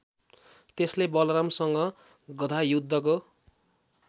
त्यसले बलरामसँग गधायुद्धको